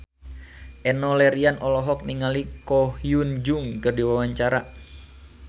Enno Lerian olohok ningali Ko Hyun Jung keur diwawancara